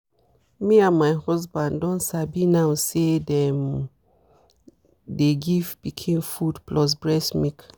me and my husband don sabi now say them dey give pikin food plus breast milk.